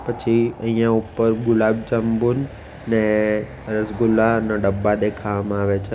પછી અહીંયા ઉપર ગુલાબ જાંબુનને રસગુલ્લાના ડબ્બા દેખાવામાં આવે છે.